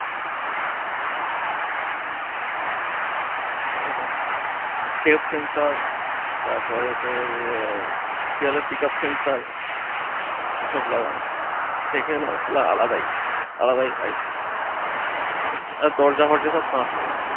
ঠিকাছে। depth sensor তারপরে তোর আহ কি বলে speaker sensor সব লাগানো। ছেলেটা আলাদাই, আলাদাই দরজা ফরজা সব কাঁচের